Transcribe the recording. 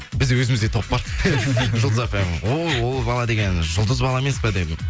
біз өзімізде топ бар жұлдыз фм о ол бала деген жұлдыз бала емес па дедім